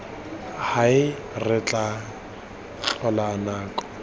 hae re tla tloga nako